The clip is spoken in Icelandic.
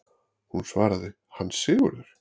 Hún svaraði: Hann Sigurður!